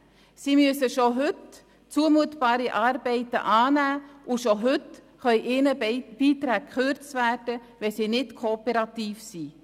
Sie müssen schon heute zumutbare Arbeiten annehmen, und schon heute können ihnen Beiträge gekürzt werden, wenn sie nicht kooperativ sind.